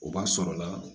O b'a sɔrɔ la